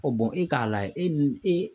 bɔn e k'a layɛ e n e.